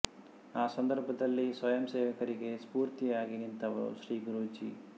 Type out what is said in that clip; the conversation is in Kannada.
ಆ ಸಂದರ್ಭದಲ್ಲಿ ಸ್ವಯಂ ಸೇವಕರಿಗೆ ಸ್ಪೂರ್ಥಿಯಾಗಿ ನಿಂತವರು ಶ್ರೀ ಗುರೂಜಿ